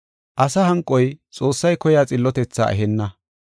Asa hanqoy Xoossay koyiya xillotethaa ehenna.